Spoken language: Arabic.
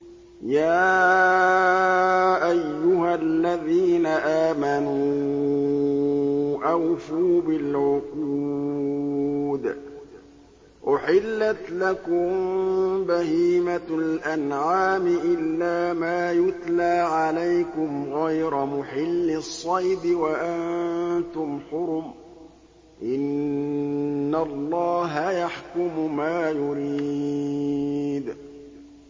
يَا أَيُّهَا الَّذِينَ آمَنُوا أَوْفُوا بِالْعُقُودِ ۚ أُحِلَّتْ لَكُم بَهِيمَةُ الْأَنْعَامِ إِلَّا مَا يُتْلَىٰ عَلَيْكُمْ غَيْرَ مُحِلِّي الصَّيْدِ وَأَنتُمْ حُرُمٌ ۗ إِنَّ اللَّهَ يَحْكُمُ مَا يُرِيدُ